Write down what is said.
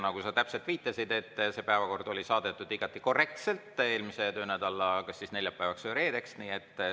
Nagu sa täpselt viitasid, see päevakord oli saadetud igati korrektselt eelmise töönädala neljapäevaks või reedeks.